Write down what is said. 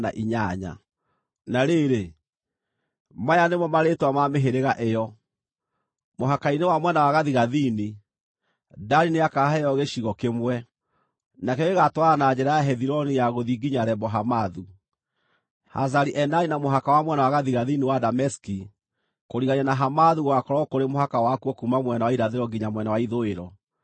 “Na rĩrĩ, maya nĩmo marĩĩtwa ma mĩhĩrĩga ĩyo: Mũhaka-inĩ wa mwena wa gathigathini, Dani nĩakaheo gĩcigo kĩmwe; nakĩo gĩgaatwarana na njĩra ya Hethiloni ya gũthiĩ nginya Lebo-Hamathu; Hazari-Enani na mũhaka wa mwena wa gathigathini wa Dameski kũrigania na Hamathu gũgaakorwo kũrĩ mũhaka wakuo kuuma mwena wa irathĩro nginya mwena wa ithũĩro.